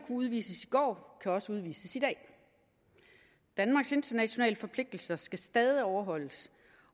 udvises i går kan også udvises i dag danmarks internationale forpligtelser skal stadig overholdes